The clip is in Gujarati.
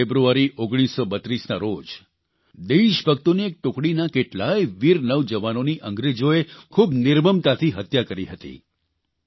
15 ફેબ્રુઆરી 1932ના રોજ દેશભક્તોની એક ટુકડીના કેટલાય વીર નવજવાનોની અંગ્રેજોએ ખૂબ નિર્મમતાથી હત્યા કરી હતી